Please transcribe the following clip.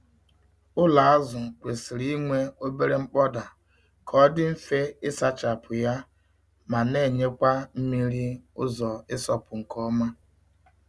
Ụlọ azụ kwesịrị inwe obere nkpọda ka ọ dị mfe ịsachapụ ya ma na-enyekwa mmiri ụzọ ịsọpụ nke ọma.